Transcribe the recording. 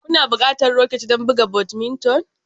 Kuna buƙatar raket don buga badminton